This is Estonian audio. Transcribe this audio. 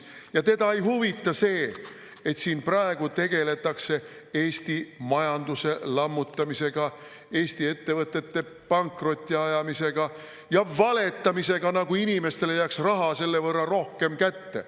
Ja teda ei huvita see, et siin praegu tegeldakse Eesti majanduse lammutamisega, Eesti ettevõtete pankrotti ajamisega ja valetamisega, nagu inimestele jääks raha selle võrra rohkem kätte.